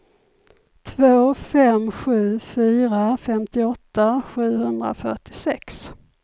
två fem sju fyra femtioåtta sjuhundrafyrtiosex